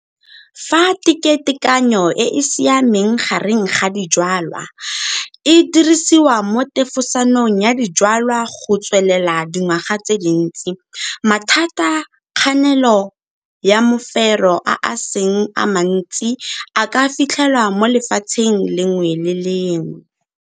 Fa teketekanyo e e siameng gare ga dijwalwa e dirisiwa mo tefosanong ya dijwalwa go tswelela dingwaga tse dintsi, mathata ka kganelo ya mofero a a seng a mantsi a ka fitlhelwa mo lefatsheng le lengwe le le lengwe.